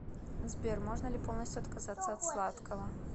сбер можно ли полностью отказаться от сладкого